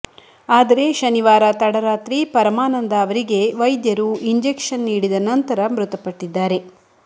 ಆದರೆ ಶನಿವಾರ ತಡರಾತ್ರಿ ಪರಮಾನಂದ ಅವರಿಗೆ ವೈದ್ಯರು ಇಂಜೆಕ್ಷನ್ ನೀಡಿದ ನಂತರ ಮೃತಪಟ್ಟಿದ್ದಾರೆ